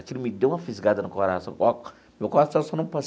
Aquilo me deu uma fisgada no coração.